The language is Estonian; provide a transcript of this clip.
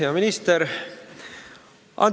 Hea minister!